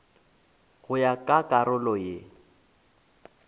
go ya ka karolo ye